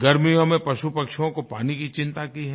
गर्मियों में पशुपक्षियों के पानी की चिंता की है